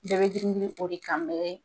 Bɛɛ be girin girin o de kan mɛ